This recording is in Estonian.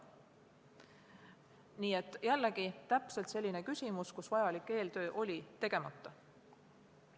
Nii et jällegi, see on täpselt selline küsimus, kus vajalik eeltöö oli tegemata.